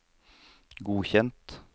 godkjent